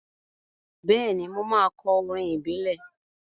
Bẹ́ẹ̀ni, mo máa kọ orin ìbílẹ̀.